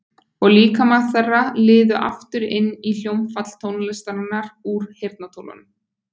Og líkamar þeirra liðu aftur inn í hljómfall tónlistarinnar úr heyrnartólunum.